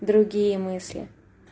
другие мысли